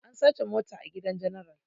An sace mota a gidan general